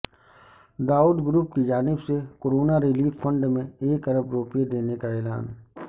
Dawood group کی جانب سے کرونا ریلیف فنڈ میں ایک ارب روپے دینے کا اعلان